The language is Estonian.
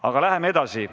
Aga läheme edasi.